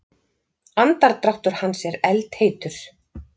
Andardráttur hans er eldheitur.